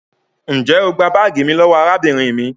njẹ o gbà baagi mí lówó arábìnrin mí?